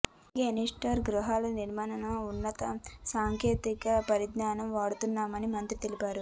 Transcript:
అలాగే ఎన్టీఆర్ గృహాల నిర్మాణంలో అత్యున్నత సాంకేతిక పరిజ్ఞానం వాడుతున్నామని మంత్రి తెలిపారు